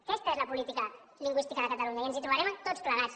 aquesta és la política lingüística de catalunya i ens hi trobarem tots plegats